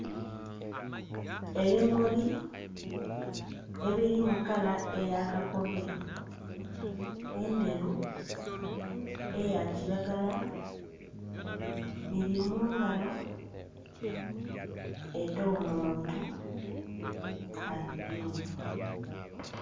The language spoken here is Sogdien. Ebimuli ebilimu kala eya kakobe, endheru, eya kilagala biri mu ngalo ed'omuntu abigemye.